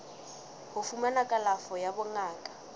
ho fumana kalafo ya bongaka